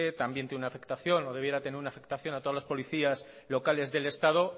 también tiene una afectación o debiera tener una afectación a todos los policías locales del estado